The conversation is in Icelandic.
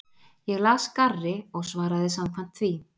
Ég las garri og svaraði samkvæmt því.